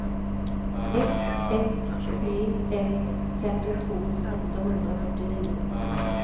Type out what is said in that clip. ett ett tre ett femtiotvå åttahundrafyrtionio